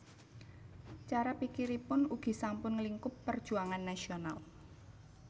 Cara pikiripun ugi sampun nglingkup perjuangan nasional